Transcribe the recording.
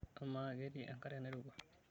Amaa, ketii enkare nairowua?